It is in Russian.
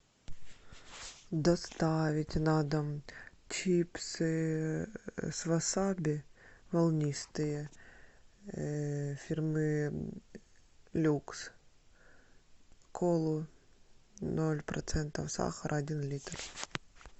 доставить на дом чипсы с васаби волнистые фирмы люкс колу ноль процентов сахара один литр